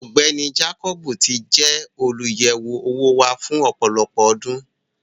Ọgbẹni Jàkọbì tì jẹ olúyẹwo owó wà fún ọpọlọpọ ọ̀dún.